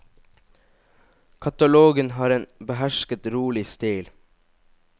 Katalogen har en behersket rolig stil.